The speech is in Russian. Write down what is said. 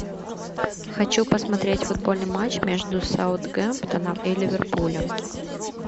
хочу посмотреть футбольный матч между саутгемптоном и ливерпулем